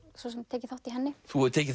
svo sem tekið þátt í henni þú hefur tekið